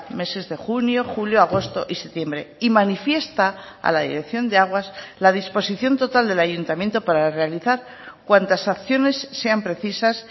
meses de junio julio agosto y septiembre y manifiesta a la dirección de aguas la disposición total del ayuntamiento para realizar cuantas acciones sean precisas